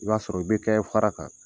I b'a sɔrɔ o be kɛɛ fara kan.